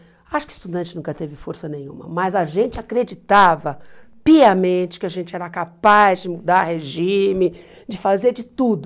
Acho que estudante nunca teve força nenhuma, mas a gente acreditava piamente que a gente era capaz de mudar regime, de fazer de tudo.